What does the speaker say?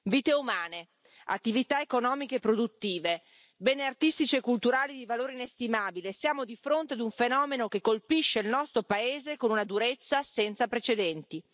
Vite umane, attività economiche e produttive, beni artistici e culturali di valore inestimabile siamo di fronte a un fenomeno che colpisce il nostro paese con una durezza senza precedenti.